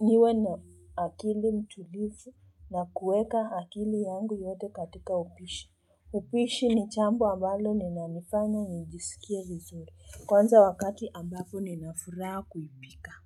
niwe na akili mtulifu na kueka akili yangu yote katika upishi. Upishi ni chambo ambalo linanifanya nijisikie vizuri. Kwanza wakati ambapo nina furaa kuipika.